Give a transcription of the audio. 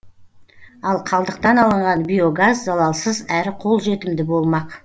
ал қалдықтан алынған биогаз залалсыз әрі қолжетімді болмақ